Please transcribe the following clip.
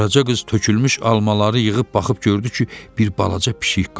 Qaraca qız tökülmüş almaları yığıb baxıb gördü ki, bir balaca pişik qaçır.